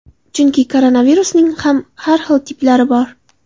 Chunki koronavirusning ham har xil tiplari bor.